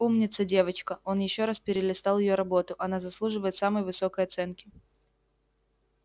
умница девочка он ещё раз перелистал её работу она заслуживает самой высокой оценки